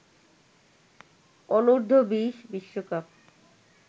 অনূর্ধ্ব-২০ বিশ্বকাপ